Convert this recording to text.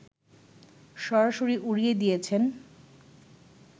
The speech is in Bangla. সরাসরি উড়িয়ে দিয়েছেন